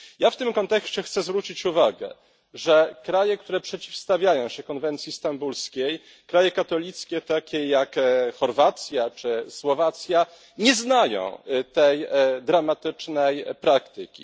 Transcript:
Ja w tym kontekście chcę zwrócić uwagę, że kraje, które przeciwstawiają się konwencji stambulskiej kraje katolickie, takie jak Chorwacja czy Słowacja nie znają tej dramatycznej praktyki.